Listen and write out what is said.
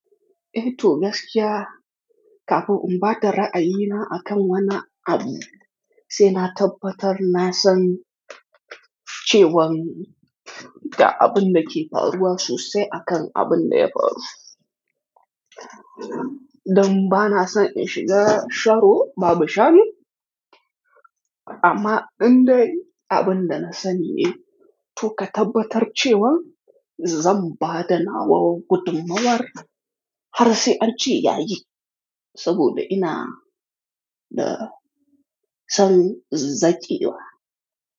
Eh Tol, gaskiya kafin in ba da ra'ayina akan wannan abu, sai na tabbatar na san cewan da abin da ke faruwa sosai akan abin da ya faru. Dan ba na son in shiga sharo babu shano amma indai abin da na sanine to ka tabbatar cewa zan ba da nawa wa gudummawar har sai an ce ya yi, saboda ina da son zaciwa.